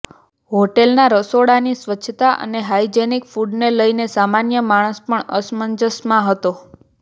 હોટેલના રસોડાની સ્વચ્છતા અને હાઈજેનીક ફૂડને લઈને સામાન્ય માણસ પણ અસમંજસમાં હતો